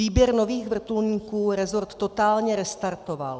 Výběr nových vrtulníků resort totálně restartoval."